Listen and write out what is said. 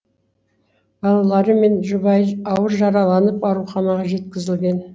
балалары мен жұбайы ауыр жараланып ауруханаға жеткізілген